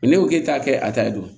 ne ko k'e t'a kɛ a ta ye dun